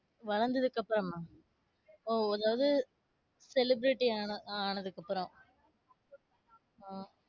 வளர்ந்ததுக்கு அப்பறமா? ஓ அதாவது celebrity ஆன~ ஆனதுக்கப்புறம் உம்